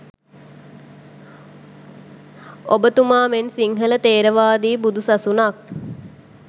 ඔබතුමාමෙන් ‘සිංහල ථෙරවාදී බුදු සසුනක්’